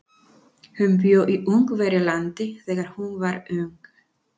Hún bjó í Ungverjalandi þegar hún var ung.